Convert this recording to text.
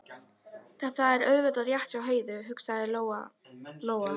Þetta er auðvitað rétt hjá Heiðu, hugsaði Lóa Lóa.